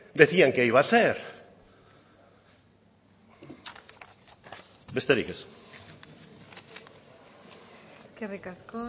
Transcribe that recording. decían que iba a ser besterik ez eskerrik